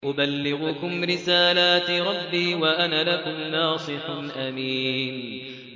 أُبَلِّغُكُمْ رِسَالَاتِ رَبِّي وَأَنَا لَكُمْ نَاصِحٌ أَمِينٌ